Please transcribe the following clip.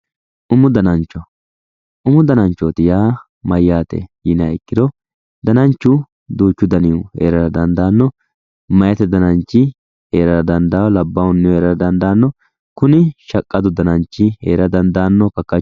umu danacho umu danancho yaa mayyate yiniha ikkiro dananchu duuchu danihu heerara danidaanno meyate danannichi heerara dandawo labbahunnihu heerara dandaanno kuni shaqadu dananchi heera dandaanno